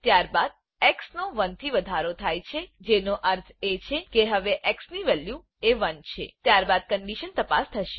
ત્યારબાદ એક્સ નો 1 થી વધારો થાય છે જેનો અર્થ એ છે કે હવે એક્સ ની વેલ્યુ એ 1 છે ત્યારબાદ કન્ડીશન તપાસ થશે